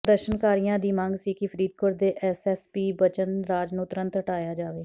ਪ੍ਰਦਰਸ਼ਨਕਾਰੀਆਂ ਦੀ ਮੰਗ ਸੀ ਕਿ ਫ਼ਰੀਦੋਕਟ ਦੇ ਐਸਐਸਪੀ ਬਚਨ ਰਾਜ ਨੂੰ ਤੁਰੰਤ ਹਟਾਇਆ ਜਾਵੇ